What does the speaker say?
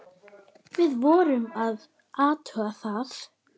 Við vorum að athuga það.